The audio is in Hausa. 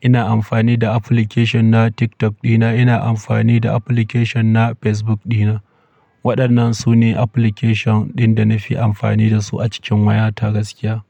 ina amfani da application na TikTok dina, ina amfani da application na Facebook dina. Waɗannan su ne application ɗin da nafi amfani da su a cikin wayata gaskiya.